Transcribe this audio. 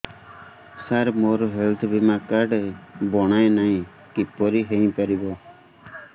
ସାର ମୋର ହେଲ୍ଥ ବୀମା କାର୍ଡ ବଣାଇନାହିଁ କିପରି ହୈ ପାରିବ